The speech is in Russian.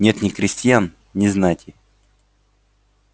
нет ни крестьян ни знати